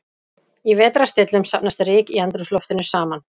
Í vetrarstillum safnast ryk í andrúmsloftinu saman.